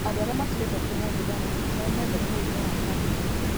Andũ arĩa matigĩte kũnyua thigara no metheme mũrimũ wa kanca.